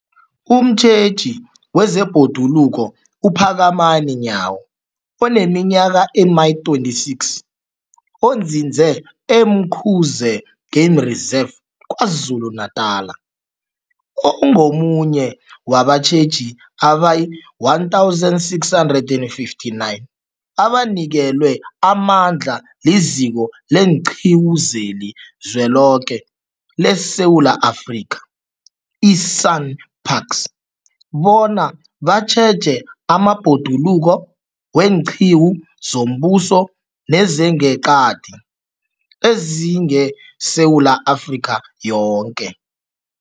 Umtjheji wezeBhoduluko uPhakamani Nyawo oneminyaka ema-26, onzinze e-Umkhuze Game Reserve KwaZulu-Natala, ungomunye wabatjheji abayi-1 659 abanikelwe amandla liZiko leenQiwu zeliZweloke leSewula Afrika, i-SANParks, bona batjheje amabhoduluko weenqiwu zombuso nezangeqadi ezingeSewula Afrika yoke.